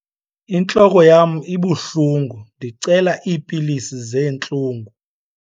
Intloko yam ibuhlungu ndicela iipilisi zeentlungu.